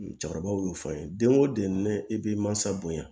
Cɛkɔrɔbaw y'o fɔ an ye den o den ne e bɛ mansa bonya